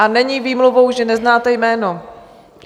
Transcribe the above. A není výmluvou, že neznáte jméno.